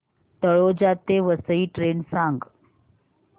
तळोजा ते वसई ट्रेन सांग